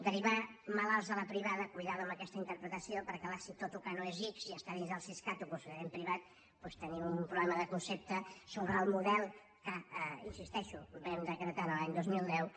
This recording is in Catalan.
derivar malalts a la privada compte amb aquesta interpretació perquè és clar si tot el que no és ics i està dins del siscat ho considerem privat doncs tenim un problema de concepte sobre el model que hi insisteixo vam decretar l’any dos mil deu